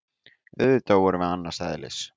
Auðvitað vorum við annars eðlis.